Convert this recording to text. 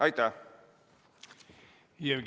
Aitäh!